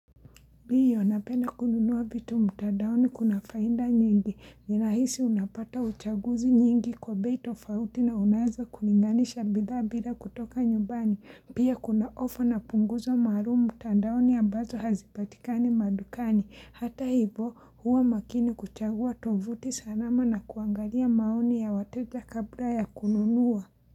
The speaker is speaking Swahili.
Ndiyo, napenda kununua vitu mtadaoni kuna faida nyingi, ninahisi unapata uchaguzi nyingi kwa bei to fauti na unaeza kulinganisha bidha bila kutoka nyumbani, pia kuna ofa na punguzo maalumu mtandaoni ya ambazo hazipatikani madukani, hata hivo huwa makini kuchagua tovuti salama na kuangalia maoni ya wateja kabla ya kununua.